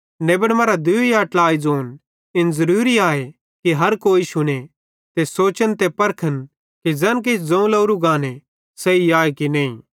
नेबन मरां दूई या ट्लाई ज़ोन इन ज़रूरी आए कि हर कोई शुने ते सोचन ते परखन कि ज़ैन किछ ज़ोवं लोरू गाने सही आए या नईं